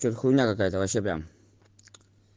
что-то хуйня какая-то вообще прям